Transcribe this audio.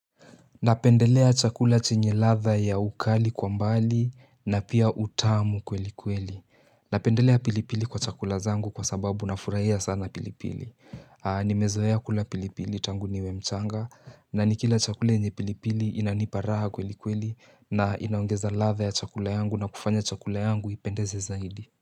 Napendelea chakula chenye ratha ya ukali kwa mbali na pia utamu kweli kweli. Napendelea pilipili kwa chakula zangu kwa sababu nafurahia sana pilipili. Nimezoea kula pilipili tangu niwe mchanga na nikila chakule yenye pilipili inanipa raha kweli kweli na inaongeza latha ya chakula yangu na kufanya chakula yangu ipendeze zaidi.